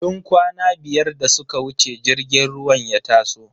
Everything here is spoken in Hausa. Tun kwana biyar da suka wuce jirgin ruwan ya taso.